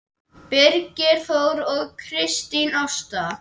Birgir Þór og Kristín Ásta.